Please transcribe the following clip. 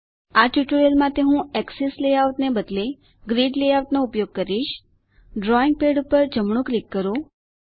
આ ટ્યુટોરીયલ માટે હું એક્સેસ લેઆઉટ ને બદલે ગ્રિડ લેઆઉટનો ઉપયોગ કરીશ ડ્રોઈંગ પેડ ઉપર જમણું ક્લિક કરો